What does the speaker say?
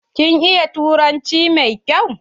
Kin iya turanci mai kyau?